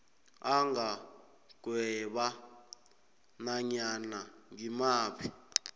angagweba nanyana ngimaphi